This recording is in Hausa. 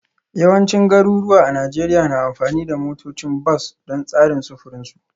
Yawancin garuruwa a Najeriya na amfani da motocin bas don tsarin sufurin su